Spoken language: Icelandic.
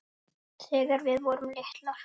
Þegar við vorum litlar.